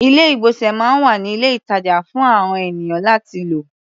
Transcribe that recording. Ilé-ìgbọ̀nsẹ̀ máa ń wà ní ilé-ìtàjà fún àon ènìyàn láti lò.